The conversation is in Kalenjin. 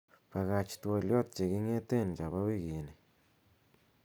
bagach twolyot cheging'eten chabo wigini